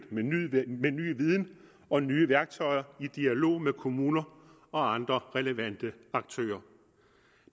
med ny viden og nye værktøjer i dialog med kommuner og andre relevante aktører